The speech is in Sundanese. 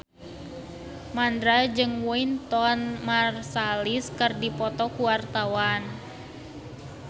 Mandra jeung Wynton Marsalis keur dipoto ku wartawan